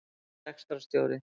Hann er rekstrarstjóri